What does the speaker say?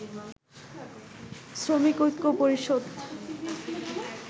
শ্রমিক ঐক্য পরিষদ